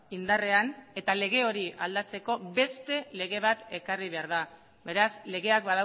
indarrean eta lege hori aldatzeko beste lege bat ekarri behar da beraz legeak